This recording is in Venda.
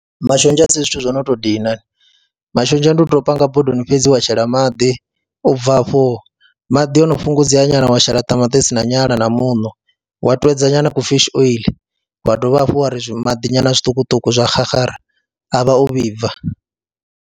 Mashonzha a si zwithu zwo no tou dina, mashonzha ndi u tou panga bodoni fhedzi wa shela maḓi u bva afho maḓi o no fhungudzea nyana wa shela ṱamaṱisi na nyala na muṋo, wa twedza nyana kufishi oiḽi wa dovha hafhu wa ri maḓi nyana zwiṱukuṱuku zwa xaxara, a vha o vhibva.